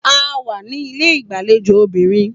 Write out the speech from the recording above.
A wà ní ilé ìgbàlejò obìnrin